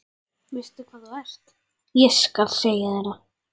Veistu hvað þú ert, ég skal segja þér það.